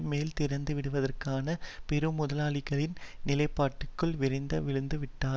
மேலும் திறந்து விடுவதற்கான பெரு முதலாளிகளின் நிலைப்பாட்டுக்குள் விரைந்தே விழுந்து விட்டார்